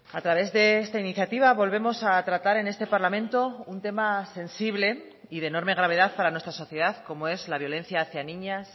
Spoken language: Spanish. a través de esta iniciativa volvemos a tratar en este parlamento un tema sensible y de enorme gravedad para nuestra sociedad como es la violencia hacía niñas